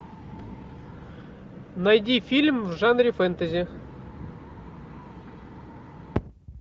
найди фильм в жанре фэнтези